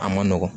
A man nɔgɔn